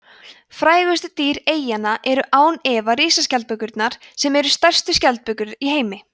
frægustu dýr eyjanna eru án efa risaskjaldbökurnar sem eru stærstu skjaldbökur í heimi